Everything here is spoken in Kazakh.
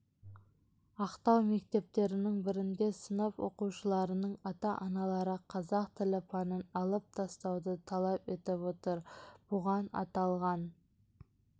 ақтау мектептерінің бірінде сынып оқушыларының ата-аналары қазақ тілі пәнін алып тастауды талап етіп отыр бұған аталған